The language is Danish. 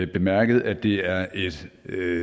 bemærket at det er et